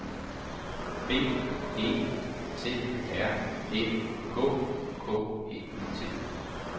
B E T R Æ K K E T